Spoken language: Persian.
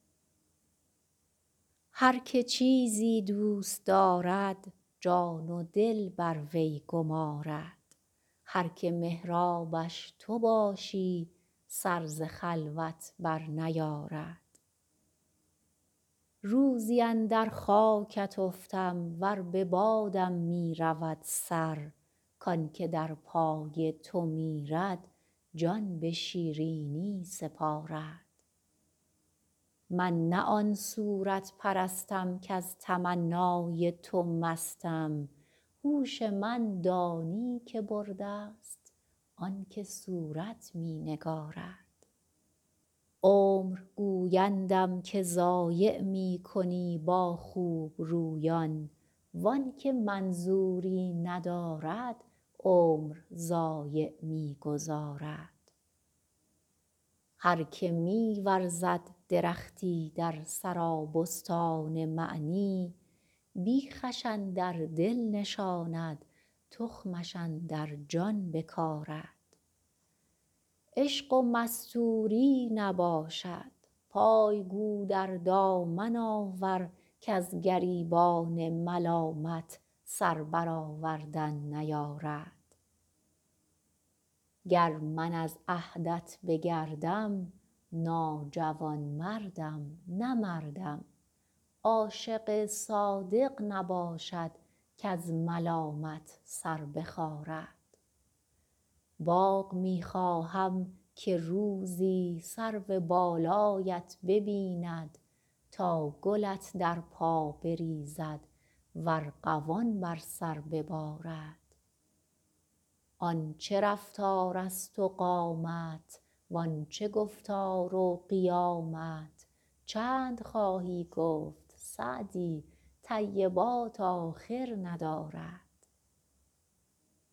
هر که چیزی دوست دارد جان و دل بر وی گمارد هر که محرابش تو باشی سر ز خلوت برنیارد روزی اندر خاکت افتم ور به بادم می رود سر کان که در پای تو میرد جان به شیرینی سپارد من نه آن صورت پرستم کز تمنای تو مستم هوش من دانی که برده ست آن که صورت می نگارد عمر گویندم که ضایع می کنی با خوبرویان وان که منظوری ندارد عمر ضایع می گذارد هر که می ورزد درختی در سرابستان معنی بیخش اندر دل نشاند تخمش اندر جان بکارد عشق و مستوری نباشد پای گو در دامن آور کز گریبان ملامت سر برآوردن نیارد گر من از عهدت بگردم ناجوانمردم نه مردم عاشق صادق نباشد کز ملامت سر بخارد باغ می خواهم که روزی سرو بالایت ببیند تا گلت در پا بریزد و ارغوان بر سر ببارد آن چه رفتارست و قامت وان چه گفتار و قیامت چند خواهی گفت سعدی طیبات آخر ندارد